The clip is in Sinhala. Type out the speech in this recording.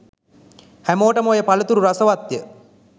හැමෝටම ඔය පලතුරු රසවත් ය.